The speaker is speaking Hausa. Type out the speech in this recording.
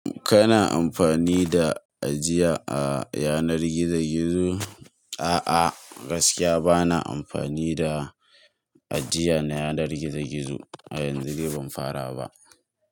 Kana amfani da ajiya a yanar gizo gizo? A'a, gaskiya bana amfani da ajiya na yanar gizo gizo. A yanzu dai ban fara ba.